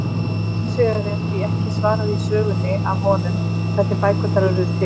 Hins vegar er því ekki svarað í sögunni af honum, hvernig bækurnar urðu til!?